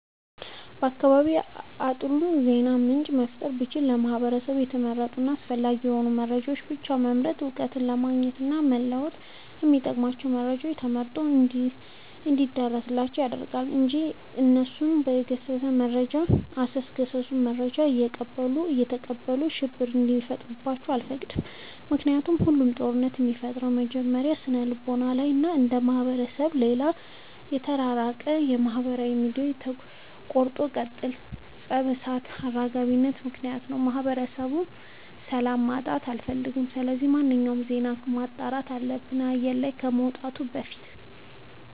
በአካባቢዬ አጥሩ የዜና ምንጭ መፍጠር ብችል ለህብረተሰቤ የተመረጡ እና አስፈላጊ የሆኑ መረጃዎችን ብቻ በመምረጥ እውቀት ለማግኘት እና ለመወጥ የሚጠቅሟቸውን መረጃ ተመርጦ እንዲደርሳቸው አደርጋለሁ። እንጂ አሰሱንም ገሰሱንም መረጃ እያቀበሉ ሽብር እንዲፈጥሩባቸው አልፈቅድም ምክንያቱም ሁሉም ጦርነት የሚፈጠረው መጀመሪያ ስነልቦና ላይ ነው። አንዱ ማህበረሰብ ከሌላው የተራራቀው በማህበራዊ ሚዲያዎች ቆርጦ ቀጥልነት የፀብ እሳት አራጋቢነት ምክንያት ነው። የማህበረሰቤን ሰላም ማጣት አልፈልግም ስለዚህ ማንኛውም ዜና መጣራት አለበት አየር ላይ ከመውጣቱ በፊት።